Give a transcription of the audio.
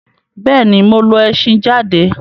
Bẹ́ẹ̀̀ ni, mo lo ẹṣhin jáde.